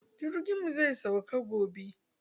Jirgin mu zai sauka gobe.